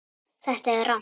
Þetta er rangt.